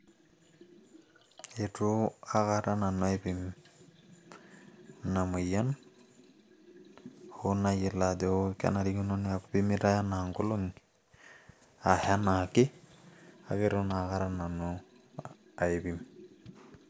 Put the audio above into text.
eitu aikata nanu aipim ina moyia, ho nayiolo ajo kenarikino naa kipimi anaa nkolong'i ashu anaa ke.kake eitu naa aikata nanu aipim.